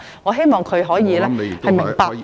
我希望他可以明白......